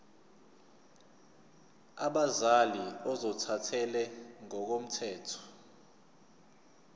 abazali ozothathele ngokomthetho